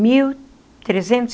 Mil trezentos